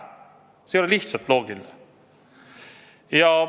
See ei ole lihtsalt loogiline.